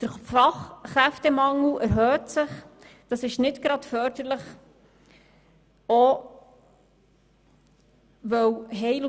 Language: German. Der Fachkräftemangel erhöht sich, was nicht gerade förderlich ist.